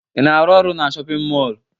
Ị na-arụ na shọpịn mọọlụ?